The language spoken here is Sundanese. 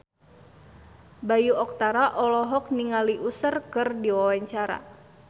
Bayu Octara olohok ningali Usher keur diwawancara